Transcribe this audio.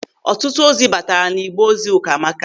Ọtụtụ ozi bataara n'igbe ozi Ụkamaka.